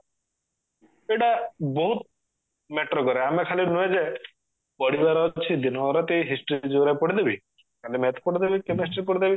ଏଇଟା ବହୁତ matter କରେ ଆମେ ଖାଲି ନୁହେଁ ଯେ ପଢିବାର ଅଛି ଦିନରାତି history geography ପଢିଦେବି କାଲି math ପଢିଦେବି chemistry ପଢିଦେବି